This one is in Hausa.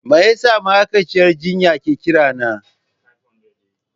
Me yasa ma'aikaciyar jinya ke kirana?